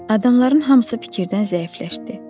Adamların hamısı fikirdən zəiflədi.